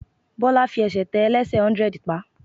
Bọ́lá fi ẹsẹ̀ tẹ ẹlẹ́sẹ̀ hundred pa.